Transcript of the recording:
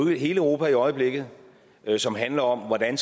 i hele europa i øjeblikket som handler om hvordan